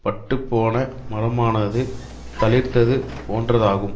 பட்டுப்போன மரமானது தளிர்த்தது போன்றதாகும்